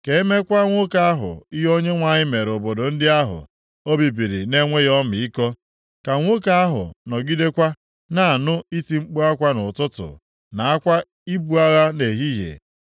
Ka e meekwa nwoke ahụ ihe Onyenwe anyị mere obodo ndị ahụ o bibiri na-enweghị ọmịiko. Ka nwoke ahụ nọgidekwa na-anụ iti mkpu akwa nʼụtụtụ, na akwa ibu agha nʼehihie.